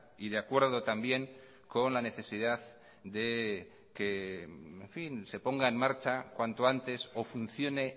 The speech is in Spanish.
y de acuerdo también con la necesidad de que en fin se ponga en marcha cuanto antes o funcione